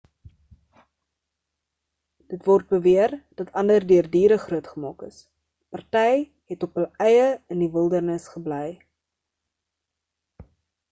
dit word beweer dat ander deur diere grootgemaak is party het op hul eie in die wildernis gebly